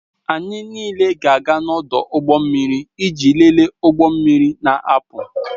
Anyị niile ga-aga n'ọdụ ụgbọ mmiri iji lelee ụgbọ na-apụ